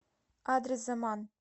адрес заман